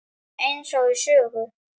Eins og í sögu.